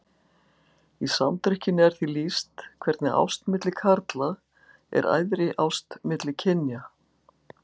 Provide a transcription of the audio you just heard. Í Samdrykkjunni er því lýst hvernig ást milli karla er æðri ást milli kynja.